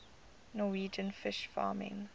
norwegian fish farming